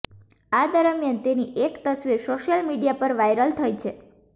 આ દરમિયાન તેની એક તસવીર સોશિયલ મીડિયા પર વાયરલ થઈ છે